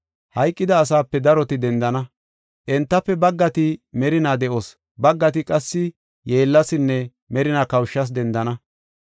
Hayqida asaape daroti dendana. Entafe baggati merina de7os, baggati qassi yeellasinne merinaa kawushas dendana.